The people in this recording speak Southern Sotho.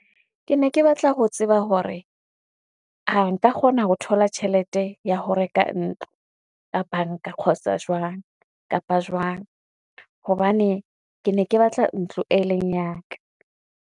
Ke ne ke batla ho tseba hore, a nka kgona ho thola tjhelete ya ho reka ntlo ka banka jwang kapa jwang, hobane ke ne ke batla ntlo, e leng ya ka.